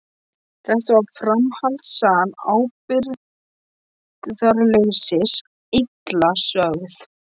Þetta var framhaldssaga ábyrgðarleysis, illa sögð.